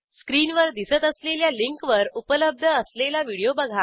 स्क्रीनवर दिसत असलेल्या लिंकवर उपलब्ध असलेला व्हिडिओ बघा